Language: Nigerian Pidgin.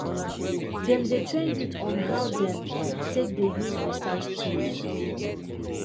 dem dey train youth on how dem take dey use research tools